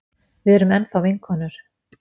Við erum enn þá vinkonur.